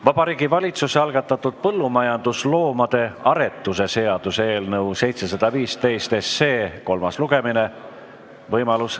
Vabariigi Valitsuse algatatud põllumajandusloomade aretuse seaduse eelnõu 715 kolmas lugemine.